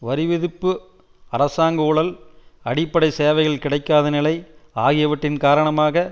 வரி விதிப்பு அரசாங்க ஊழல் அடிப்படை சேவைகள் கிடைக்காத நிலை ஆகியவற்றின் காரணமாக